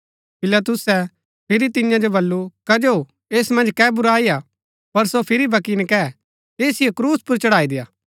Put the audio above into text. पिलातुसै फिरी तियां जो बल्लू कजो ऐस मन्ज कै बुराई हा पर सो फिरी भी बक्की नकैऐ ऐसिओ क्रूस पुर चढ़ाई देय्आ